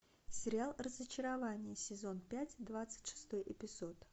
сериал разочарование сезон пять двадцать шестой эпизод